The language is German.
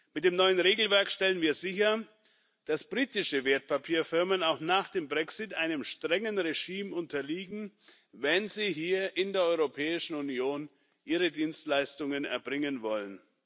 Mit dem neuen Regelwerk stellen wir sicher, dass britische Wertpapierfirmen auch nach dem Brexit einem strengen Regime unterliegen, wenn sie hier in der Europäischen Union ihre Dienstleistungen erbringen wollen.